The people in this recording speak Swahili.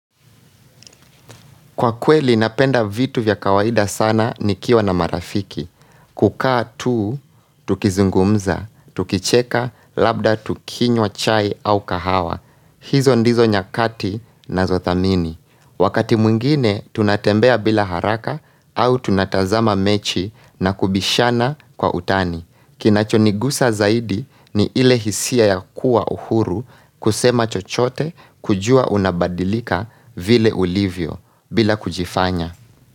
Kwa kweli napenda vitu vya kawaida sana nikiwa na marafiki. Kukaa tuu, tukizungumza, tukicheka, labda tukinywa chai au kahawa. Hizo ndizo nyakati nazothamini. Wakati mwingine tunatembea bila haraka au tunatazama mechi na kubishana kwa utani. Kinachonigusa zaidi ni ile hisia ya kuwa uhuru kusema chochote kujua unabadilika vile ulivyo bila kujifanya.